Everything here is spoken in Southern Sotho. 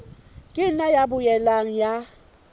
ka nna ya boela ya